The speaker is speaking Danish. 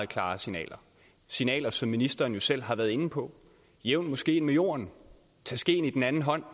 klare signaler signaler som ministeren jo selv har været inde på jævn moskeen med jorden tag skeen i den anden hånd